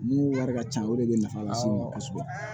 Mun wari ka ca o de bɛ nafa lase an ma kosɛbɛ